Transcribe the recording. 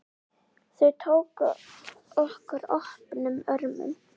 Þau tóku okkur opnum örmum.